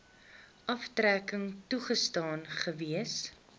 aftrekking toegestaan gewees